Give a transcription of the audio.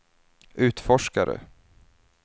utforskare